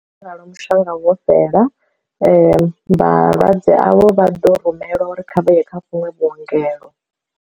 Ngauralo mushonga vho fhela vhalwadze avho vha ḓo rumelwa uri kha vha ye kha vhunwe vhuongelo.